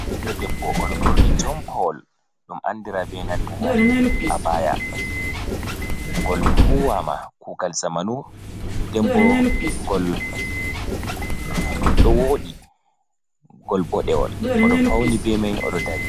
Ɓiɗdo debbo oɗo borni jonpawol ɗum andira be nantaa abaya gol huwama kugal zamanu dembo gol woɗi gol bodewol odo fauni be mai odo ɗari.